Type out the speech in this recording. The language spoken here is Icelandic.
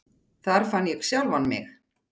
Þar fann ég sjálfan mig.